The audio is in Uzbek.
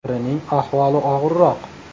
Birining ahvoli og‘irroq.